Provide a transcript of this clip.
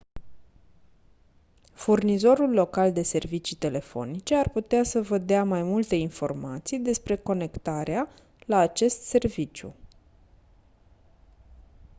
furnizorul local de servicii telefonice ar putea să vă dea mai multe informații despre conectarea la acest serviciu